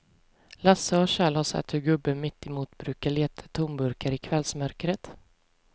Lasse och Kjell har sett hur gubben mittemot brukar leta tomburkar i kvällsmörkret.